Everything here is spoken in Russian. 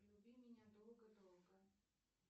люби меня долго долго